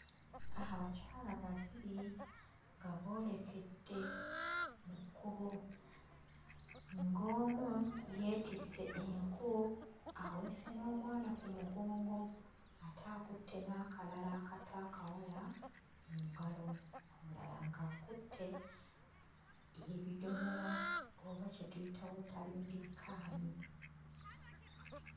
Abakyala babiri nga boolekedde mu kkubo. Ng'omu yeetisse enku aweese n'omwana ku mugongo ate akutte n'akalala akato akawala mu ngalo. Omulala ng'akutte ebidomola oba kye tuyita watering can.